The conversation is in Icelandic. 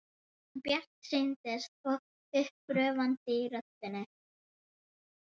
Hann er bjartsýnn og uppörvandi í röddinni.